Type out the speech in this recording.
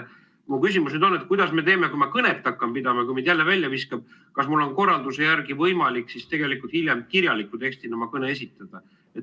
Mu küsimus on: kuidas me teeme, kui ma hakkan kõnet pidama ja ta mind jälle välja viskab, siis kas mul on korralduse järgi hiljem võimalik oma kõne esitada kirjaliku tekstina?